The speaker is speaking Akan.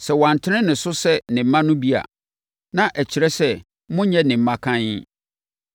Sɛ wantene mo so sɛ ne mma no bi a, na ɛkyerɛ sɛ monnyɛ ne mma kann.